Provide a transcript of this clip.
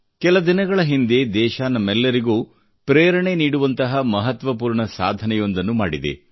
ಕೆಲ ದಿನಗಳ ಹಿಂದೆ ದೇಶ ನಮ್ಮೆಲ್ಲರಿಗೂ ಪ್ರೇರಣೆ ನೀಡುವಂತ ಮಹತ್ವಪೂರ್ಣ ಸಾಧನೆಯೊಂದನ್ನು ಮಾಡಿದೆ